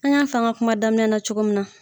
An y'a f'an ka kuma daminɛ na cogo min na.